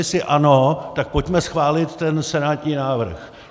Jestli ano, tak pojďme schválit ten senátní návrh.